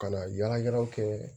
Ka na yala yalaw kɛ